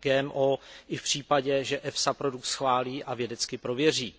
GMO i v případě, že FSA produkt schválí a vědecky prověří.